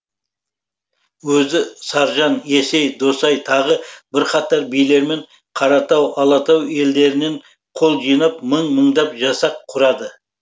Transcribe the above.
өзі саржан есей досай тағы бірқатар билермен қаратау алатау елдерінен қол жинап мың мыңдап жасақ құрады